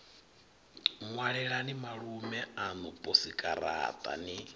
ṅwalelani malume aṋu posikaraṱa ni